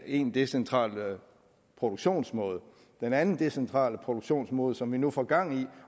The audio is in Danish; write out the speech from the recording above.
ene decentrale produktionsmåde den anden decentrale produktionsmåde som vi nu får gang i